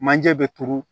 Manje bɛ turu